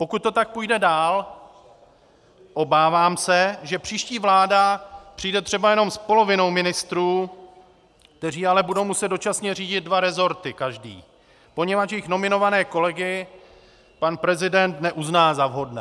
Pokud to tak půjde dál, obávám se, že příští vláda přijde třeba jenom s polovinou ministrů, kteří ale budou muset dočasně řídit dva resorty každý, poněvadž jejich nominované kolegy pan prezident neuzná za vhodné.